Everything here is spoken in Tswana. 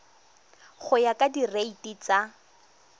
go ya ka direiti tsa